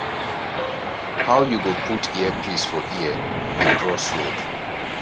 how you go put earpiece for ear dey cross road